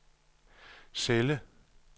celle